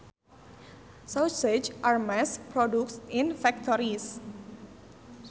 Sausages are mass produced in factories